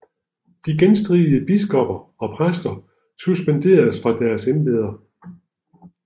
De genstridige biskopper og præster suspenderedes fra deres embeder